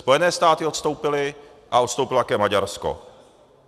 Spojené státy odstoupily a odstoupilo také Maďarsko.